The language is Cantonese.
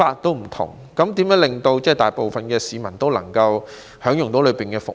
如何可以令大部分市民均能享用園內的服務？